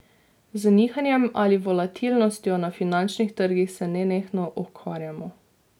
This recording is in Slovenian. Z nihanjem ali volatilnostjo na finančnih trgih se nenehno ukvarjamo.